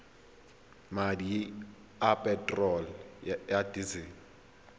madi a peterolo ya disele